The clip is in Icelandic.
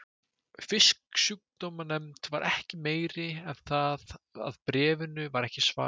Fisksjúkdómanefnd var ekki meiri en það að bréfinu var ekki svarað.